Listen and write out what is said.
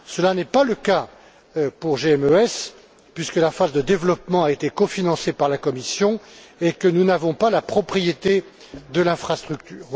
Cela n'est pas le cas pour GMES puisque la phase de développement a été cofinancée par la Commission et que nous n'avons pas la propriété de l'infrastructure.